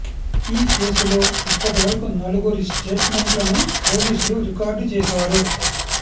ఈ కేసులో ఇప్పటివరకు నలుగురి స్టేట్ మెంట్లను పోలీసులు రికార్డ్ చేశారు